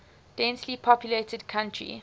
densely populated country